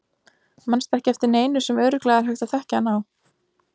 Manstu ekki eftir neinu sem örugglega er hægt að þekkja hann á?